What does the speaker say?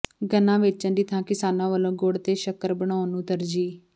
ਗੰਨਾ ਵੇਚਣ ਦੀ ਥਾਂ ਕਿਸਾਨਾਂ ਵੱਲੋਂ ਗੁੜ ਤੇ ਸ਼ੱਕਰ ਬਣਾਉਣ ਨੂੰ ਤਰਜੀਹ